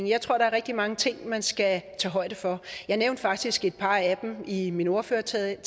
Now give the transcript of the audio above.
jeg tror der er rigtig mange ting man skal tage højde for jeg nævnte faktisk et par af dem i min ordførertale